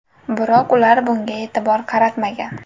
Biroq ular bunga e’tibor qaratmagan.